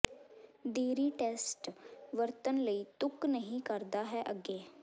ਦੇਰੀ ਟੈਸਟ ਵਰਤਣ ਲਈ ਤੁਕ ਨਹੀ ਕਰਦਾ ਹੈ ਅੱਗੇ